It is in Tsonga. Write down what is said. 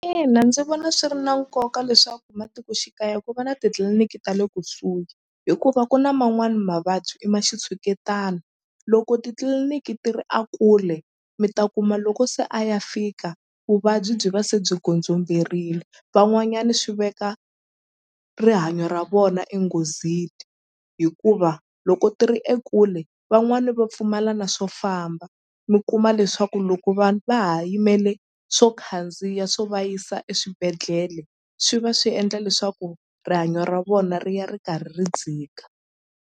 Ina ndzi vona swi ri na nkoka leswaku matikoxikaya ku va na titliliniki ta le kusuhi hikuva ku na man'wani mavabyi i ma xitshuketana loko titliliniki ti ri a kule mi ta kuma loko se a ya fika vuvabyi byi va se byi godzomberile van'wanyani swi veka rihanyo ra vona hikuva loko ti ri ekule van'wani va pfumala na swo famba mi kuma leswaku loko vanhu va ha yimele swo khandziya swo va yisa eswibedhlele swi va swi endla leswaku rihanyo ra vona ri ya ri karhi ri dzika.